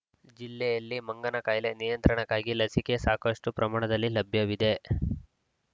ಜಿಲ್ಲೆಯಲ್ಲಿ ಮಂಗನ ಕಾಯಿಲೆ ನಿಯಂತ್ರಣಕ್ಕಾಗಿ ಲಸಿಕೆ ಸಾಕಷ್ಟುಪ್ರಮಾಣದಲ್ಲಿ ಲಭ್ಯವಿದೆ